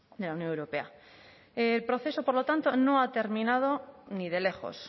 de la unión europea el proceso por lo tanto no ha terminado ni de lejos